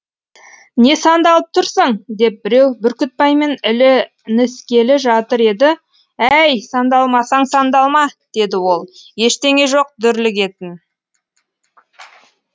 не сандалып тұрсың деп біреу бүркітбаймен ілініскелі жатыр еді әй сандалмасаң сандалма деді ол ештеңе жоқ дүрлігетін